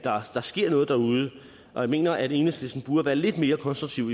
der sker noget derude og jeg mener at enhedslisten burde være lidt mere konstruktiv